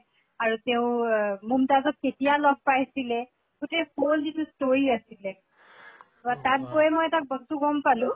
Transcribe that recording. আৰু তেওঁ আহ মুম্তাজক কেতিয়া লগ পাইছিলে গোটেই whole যিটো story আছিলে ৱা তাত গৈ মই এটা বস্তু গম পালো